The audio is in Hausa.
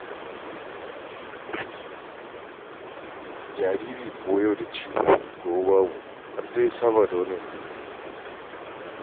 Jariri kuwa yau da ciwo gobe babu har dai ya saba da wannan duniya.